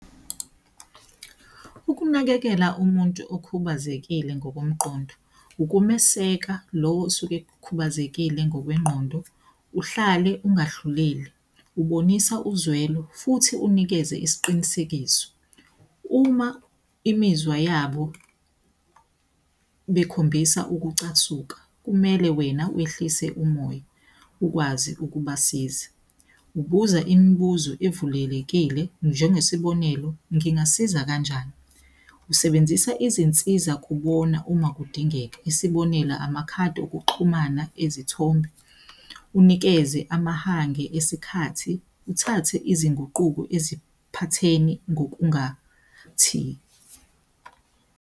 Ukunakekela umuntu okhubazekile ngokomqondo, ukumeseka lowo osuke ekhubazekile ngokwengqondo. Uhlale ungahluleli, ubonisa uzwelo futhi unikeze isiqinisekiso. Uma imizwa yabo bekhombisa ukucasuka, kumele wena wehlise umoya, ukwazi ukubasiza. Ubuza imibuzo evulelekile, njengesibonelo, ngingasiza kanjani? Usebenzisa izinsiza kubona uma kudingeka, isibonela amakhadi okuxhumana ezithombeni, unikeze amahange esikhathi, uthathe izinguquko eziphatheni ngokungathi.